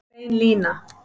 Bein lína